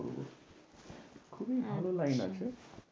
খুবই ভালো লাইন আছে।